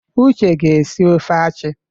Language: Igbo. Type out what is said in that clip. Uche ga esi ofe achi.